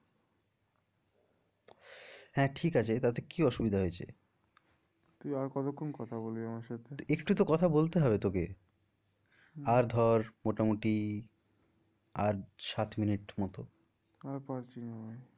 হ্যাঁ ঠিক আছে তাতে কি অসুবিধা হয়েছে? তুই আর কতক্ষন কথা বলবি আমার সাথে? একটু তো কথা বলতে হবে তোকে আর ধর মোটামুটি আর সাত minute মতো আর পারছি না ভাই।